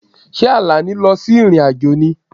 Ṣé Àlàní lọ sí ìrìn-àjò ni?